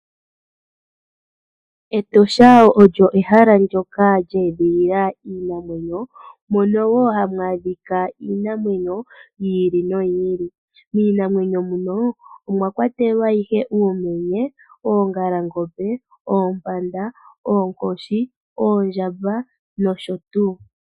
Etosha olo ehala ndoka lya etdhilila iinamwenyo mono wo hamu adhika iinamwenyo yi ili noyi ili. Miinamwenyo muno omwa kwatelwa ihe uumenye, oongalangombe, oompanda, oonkoshi, oondjamba nosho tuu.